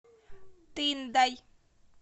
тындой